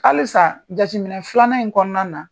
Halisa jateminɛ filanan in kɔnɔna na